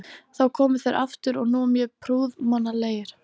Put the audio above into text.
Þá komu þeir aftur og nú mjög prúðmannlegir.